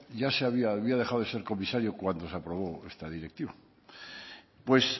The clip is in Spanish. ya había dejado de ser comisario cuando se aprobó esta directiva pues